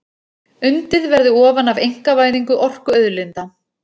Undið verði ofan af einkavæðingu orkuauðlinda